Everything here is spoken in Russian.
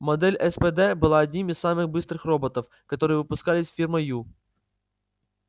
модель спд была одним из самых быстрых роботов которые выпускались фирмой ю